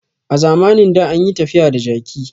A zamanin da an yi tafiya da jaki